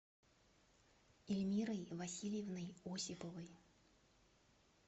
ильмирой васильевной осиповой